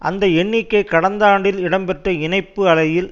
அந்த எண்ணிக்கை கடந்த ஆண்டில் இடம் பெற்ற இணைப்பு அலையில்